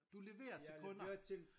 Du leverer til kunder